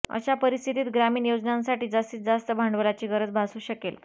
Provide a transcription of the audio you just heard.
अशा परिस्थितीत ग्रामीण योजनांसाठी जास्तीत जास्त भांडवलाची गरज भासू शकेल